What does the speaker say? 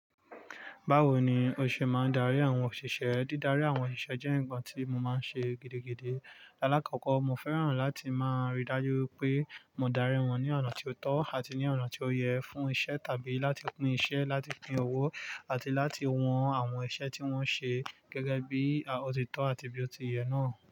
Bawo ni o ṣe máa n darí àwọn òṣìṣẹ́? Dídarí àwọn òṣìṣẹ́ jẹ́ ǹkan tí mo máa ń ṣe gidigidi. Láàkọ́kọ́, mo fẹ́ràn láti máa ríi dájú pé mo darí wọn ní ọ̀nà tí ó tọ́ àti ní ọ̀nà tí ó yẹ fún iṣẹ́ tàbí láti pín iṣẹ́, láti pín ọwọ́, àti láti wọn àwọn iṣẹ́ tí wọ́n ṣe gẹ́gẹ́ bí ó ti tọ́ àti bí ó ti yẹ náà.